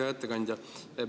Hea ettekandja!